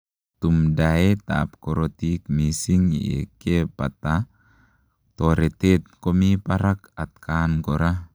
Tumdaet ap korotik misiing yekepataa toretet komii parak atakaan koraa.